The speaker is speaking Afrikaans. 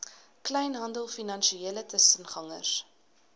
kleinhandel finansiële tussengangers